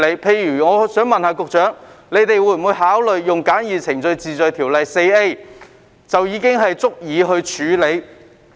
例如，我想問局長會否考慮引用《簡易程序治罪條例》第 4A 條，以處理這類車輛？